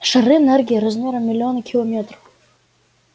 шары энергии размером в миллионы километров